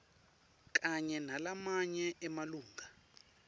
kanye nalamanye emalunga